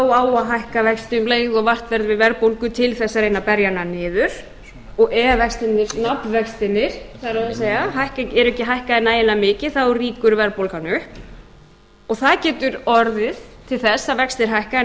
hækka vexti um leið og vart verður við verðbólgu til þess að reyna að berja hana niður og ef vextirnir eru ekki hækkaðir nægilega mikið þá rýkur verðbólgan upp og það getur orðið til þess að vextir hækka en